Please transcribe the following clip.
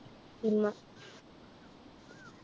ഇമ്മ.